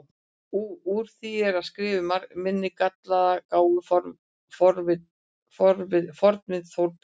Úr því ég er að skrifa um minn gallaða, gáfaða fornvin Þórberg